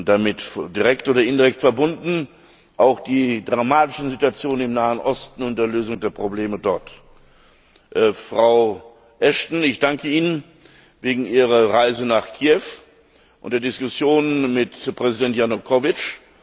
Damit direkt oder indirekt verbunden sind auch die dramatische Situation im Nahen Osten und die Lösung der Probleme dort. Frau Ashton, ich danke Ihnen für Ihre Reise nach Kiew und die Diskussionen mit Präsident Janukowitsch.